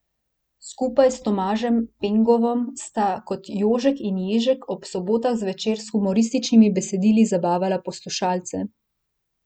Skupaj s Tomažem Pengovom sta kot Jožek in Ježek ob sobotah zvečer s humorističnimi besedili zabavala poslušalce.